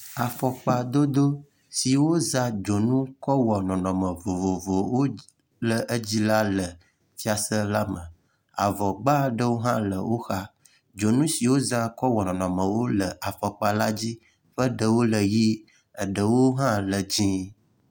Afɔkpadodo si wozã dzonu kɔ wɔ nɔnɔme vovovowo le edzi la le fiase la me. Avɔgba ɖewo hã le woxa, dzonu si wozã kɔ wɔ nɔnɔmewo le afɔkpa la dzi ƒe ɖewo le ɣi.